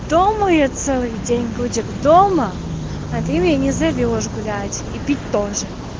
дума я целый день будет дома а ты меня не зовёшь гулять и ты тоже